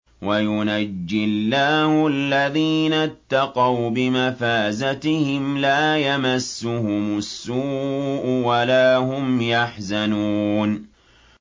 وَيُنَجِّي اللَّهُ الَّذِينَ اتَّقَوْا بِمَفَازَتِهِمْ لَا يَمَسُّهُمُ السُّوءُ وَلَا هُمْ يَحْزَنُونَ